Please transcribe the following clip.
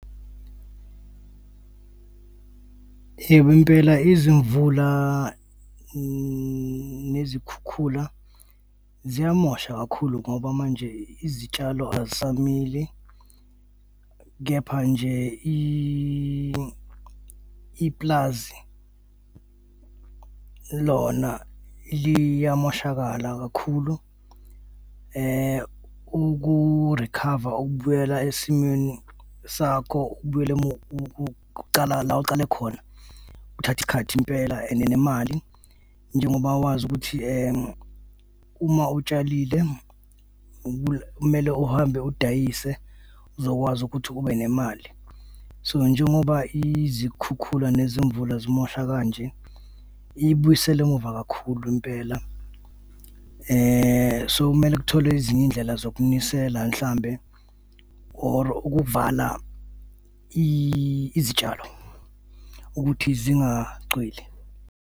Yebo impela, izimvula nezikhukhula ziyamosha kakhulu ngoba manje izitshalo azisamili, kepha nje i-pulazi lona liyamoshakala kakhulu. Uku-recover, ukubuyela esimweni sakho ubuyele ukucala la ucale khona kuthatha isikhathi impela and nemali njengoba wazi ukuthi uma utshalile kumele uhambe udayise uzokwazi ukuthi ube nemali. So, njengoba izikhukhula nezimvula zimosha kanje ibuyisela emuva kakhulu impela. So, kumele kutholwe ezinye izindlela zokunisela mhlawumbe or ukuvala izitshalo ukuthi zingacwili.